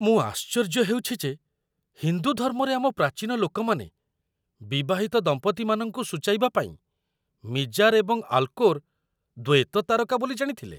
ମୁଁ ଆଶ୍ଚର୍ଯ୍ୟ ହେଉଛି ଯେ ହିନ୍ଦୁ ଧର୍ମରେ ଆମ ପ୍ରାଚୀନ ଲୋକମାନେ ବିବାହିତ ଦମ୍ପତିମାନଙ୍କୁ ସୂଚାଇବା ପାଇଁ ମିଜାର୍ ଏବଂ ଆଲ୍‌କୋର୍ ଦ୍ୱୈତ ତାରକା ବୋଲି ଜାଣିଥିଲେ।